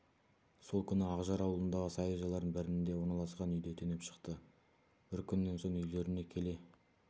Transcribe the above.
сол күні ақжар ауылындағы саяжайлардың бірінде орналасқан үйде түнеп шықты бір күннен соң үйлеріне келе